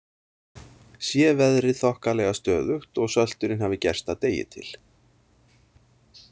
Sé veðrið þokkalega stöðugt og söltunin hafi gerst að degi til.